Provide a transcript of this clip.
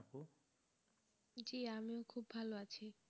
জি আমিও খুব ভালো আছি।